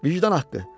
Vicdan haqqı.